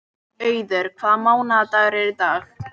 Auður, hvaða mánaðardagur er í dag?